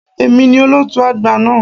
È mi ni olóòtú àgbà náà.